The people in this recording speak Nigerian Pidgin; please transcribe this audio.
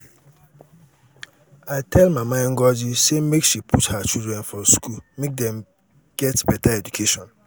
i tell mama ngozi sey make she put her children for school make dem get beta education.